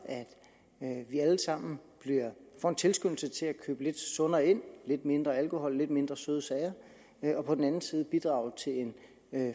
at vi alle sammen får en tilskyndelse til at købe lidt sundere ind lidt mindre alkohol lidt mindre søde sager og på den anden side at bidrage til en